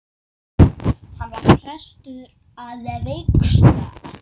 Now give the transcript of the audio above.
Hann var prestur að vígslu.